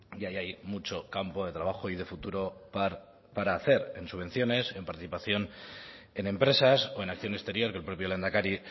y ahí hay mucho campo de trabajo y de futuro para hacer en subvenciones en participación en empresas o en acción exterior que el propio lehendakari